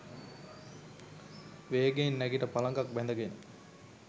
වේගයෙන් නැගිට පළඟක් බැඳ ගෙන